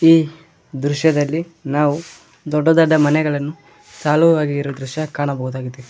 ಈ ದೃಶ್ಯದಲ್ಲಿ ನಾವು ದೊಡ್ಡ ದೊಡ್ಡ ಮನೆಗಳನ್ನು ಸಾಲುವಾಗಿರೋ ದೃಶ್ಯ ಕಾಣಬಹುದಾಗಿದೆ.